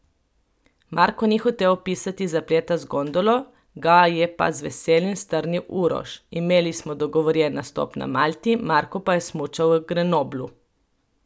Marko ni hotel opisati zapleta z gondolo, ga je pa z veseljem strnil Uroš: 'Imeli smo dogovorjen nastop na Malti, Marko pa je smučal v Grenoblu.